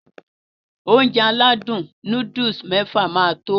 Ounjẹ aládùn nóódùsì mẹ́fà máa tó